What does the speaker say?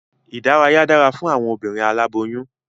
Ìdárayá dára fún awọn obinrin aláboyún